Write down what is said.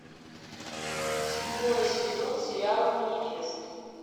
седьмой сезон сериала манифест